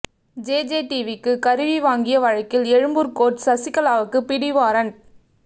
JJ டிவிக்கு கருவி வாங்கிய வழக்கில் எழும்பூர் கோர்ட் சசிகலாவுக்கு பிடிவாரன்ட்